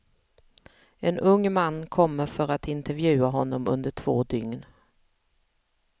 En ung man kommer för att intervjua honom under två dygn.